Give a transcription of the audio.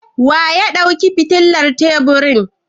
Wanene ya ɗauki fitilar teburin?